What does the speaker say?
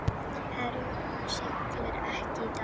Herjólfur siglir ekki í dag